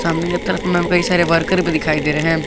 तरफ में कई सारे वर्कर भी दिखाई दे रहे हैं।